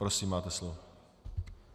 Prosím, máte slovo.